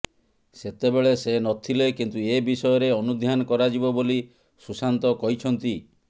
ସେତେବେଳେ ସେ ନଥିଲେ କିନ୍ତୁ ଏ ବିଷୟରେ ଅନୁଧ୍ୟାନ କରାଯିବ ବୋଲି ସୁଶାନ୍ତ କହିଛନ୍ତି